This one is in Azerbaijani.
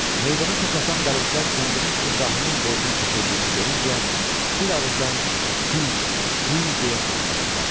Meydana toplaşan dərvişlər kəndirin İbrahimin boynuna keçirildiyini görüncə, bir ağızdan “Hu, Hu” deyə səsləndilər.